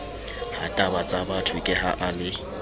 hatabatsabatho ke ha a le